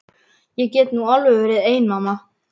Ég get nú alveg verið ein mamma.